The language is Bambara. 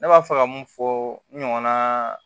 Ne b'a fɛ ka mun fɔ n ɲɔgɔnna